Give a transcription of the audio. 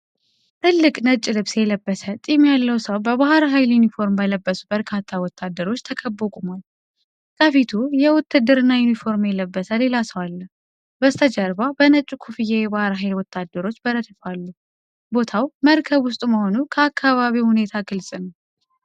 ትልቅ ነጭ ልብስ የለበሰ ጢም ያለው ሰው በባህር ኃይል ዩኒፎርም በለበሱ በርካታ ወታደሮች ተከቦ ቆሟል። ከፊቱ የውትድርና ዩኒፎርም የለበሰ ሌላ ሰው አለ። በስተጀርባ በነጭ ኮፍያ የባህር ኃይል ወታደሮች በረድፍ አሉ። ቦታው መርከብ ውስጥ መሆኑ ከአካባቢው ሁኔታ ግልጽ ነው።